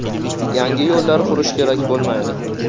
Yangi yo‘llar qurish kerak bo‘lmaydi.